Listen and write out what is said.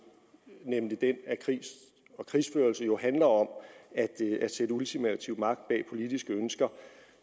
nemlig den at krig og krigsførelse jo handler om at sætte ultimativ magt bag politiske ønsker